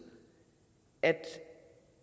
at